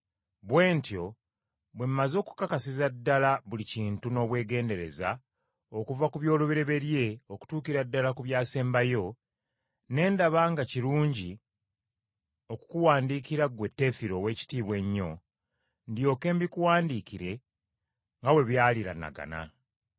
Bwe ntyo bwe mmaze okukakasiza ddala buli kintu n’obwegendereza okuva ku by’olubereberye okutuukira ddala ku byasembayo, ne ndaba nga kirungi okukuwandiikira ggwe Teefiro ow’ekitiibwa ennyo, ndyoke mbikuwandiikire nga bwe byaliraanagana.